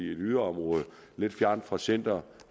yderområde lidt fjernt fra centrum